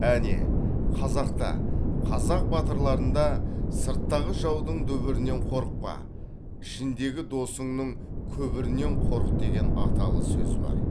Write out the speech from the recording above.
әне қазақта қазақ батырларында сырттағы жаудың дүбірінен қорықпа ішіндегі досыңның күбірінен қорық деген аталы сөзі бар